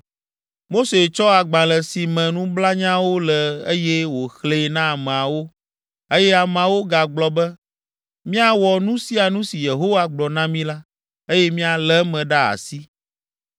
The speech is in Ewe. Mose tsɔ agbalẽ si me nublanyawo le eye wòxlẽe na ameawo, eye ameawo gagblɔ be, “Míawɔ nu sia nu si Yehowa gblɔ na mi la, eye míalé eme ɖe asi.”